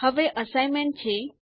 હવે અસાઇનમેન્ટ છે